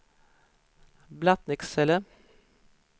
Blattnicksele